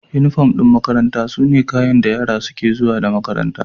Unifom ɗin makaranta sune kayan da yara suke zuwa makaranta.